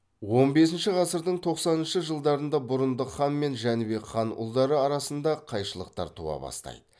он бесінші ғасырдың тоқсаныншы жылдарында бұрындық хан мен жәнібек хан ұлдары арасында қайшылықтар туа бастайды